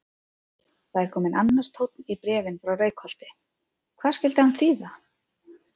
Það er kominn annar tónn í bréfin frá Reykholti, hvað skyldi hann þýða?